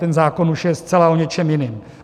Ten zákon už je zcela o něčem jiném.